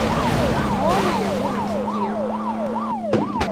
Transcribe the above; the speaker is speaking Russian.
новые мультики